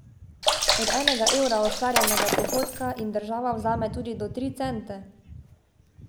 Od enega evra ustvarjenega prihodka jim država vzame tudi do tri cente.